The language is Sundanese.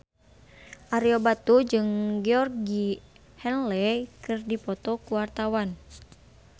Ario Batu jeung Georgie Henley keur dipoto ku wartawan